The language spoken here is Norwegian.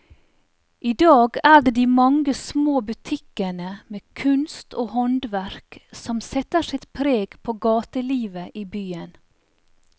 I dag er det de mange små butikkene med kunst og håndverk som setter sitt preg på gatelivet i byen.